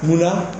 Munna